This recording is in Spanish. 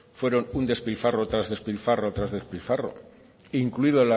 fueron un despilfarro tras despilfarro tras despilfarro incluido